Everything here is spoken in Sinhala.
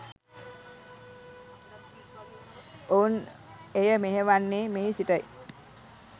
ඔවුන් එය මෙහෙයවන්නේ මෙහි සිටයි.